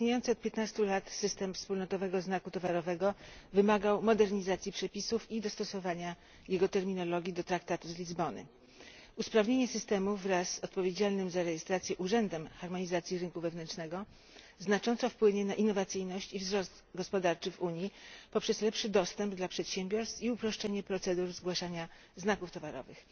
Istniejący od 15 lat system wspólnotowego znaku towarowego wymagał modernizacji przepisów i dostosowania jego terminologii do traktatu z Lizbony. Usprawnienie systemu wraz z odpowiedzialnym za rejestrację urzędem harmonizacji rynku wewnętrznego znacząco wpłynie na innowacyjność i wzrost gospodarczy w Unii poprzez lepszy dostęp dla przedsiębiorstw i uproszczenie procedur zgłaszania znaków towarowych.